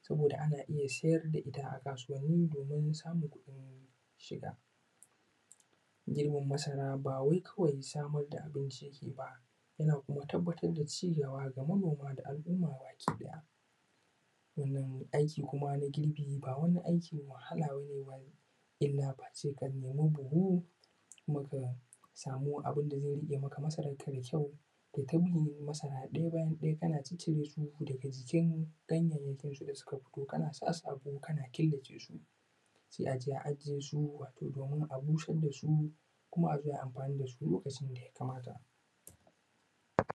saboda ana iya sayar da ita a kasuwanni domin samun kuɗin shiga, girbin masara ba wai kawai samar da abinci yake yi ba yana kuma tabbatar da ci gaba ga manoma da al`umma baki ɗaya sannan aiki kuma na girbi ba wani aikin wahala bane illa face ka nemi buhu kuma ka samu abun da zai riƙe maka masarar ka da kyau kai ta bin masara ɗaya bayan ɗaya kana cire su daga jikin ganyayyakin su da suka bushe watau kana sa su a ruwa kana kola ce su sai a je a ajiye su watau don a busar da su kuma a zo ayi amfani da su duk lokacin da ya kamata.